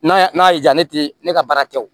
N'a y'i diya ne tɛ ne ka baara kɛ o